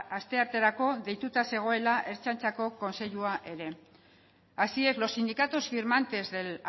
astearterako deitu zegoela ertzaintzako kontseilua ere así es los sindicatos firmantes del